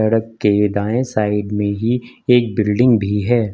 Truck के दाएं side में ही एक बिल्डिंग भी है।